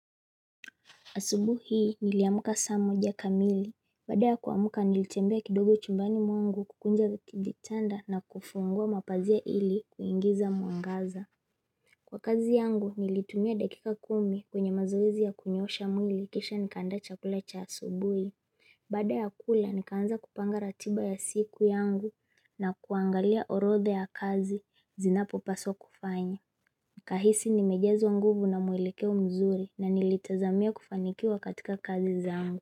Asubuhi hii niliamka saa moja kamili. Baada ya kuamka nilitembea kidogo chumbani mwangu kukunja kitanda na kufungua mapazia ili kuingiza mwangaza. Kwa kazi yangu nilitumia dakika kumi kwenye mazoezi ya kunyoosha mwili kisha nikaanda chakula cha asubuhii. Baada ya kula nikaanza kupanga ratiba ya siku yangu na kuangalia orodha ya kazi zinapo paswa kufanya. Nikahisi nimejazwa nguvu na mwelekeo mzuri na nilitazamia kufanikiwa katika kazi zangu.